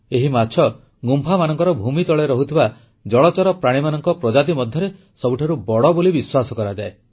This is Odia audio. ଏହି ମାଛ ଗୁମ୍ଫାମାନଙ୍କର ଭୂମି ତଳେ ରହୁଥିବା ଜଳଚର ପ୍ରାଣୀମାନଙ୍କ ପ୍ରଜାତି ମଧ୍ୟରେ ସବୁଠାରୁ ବଡ଼ ବୋଲି ବିଶ୍ୱାସ କରାଯାଏ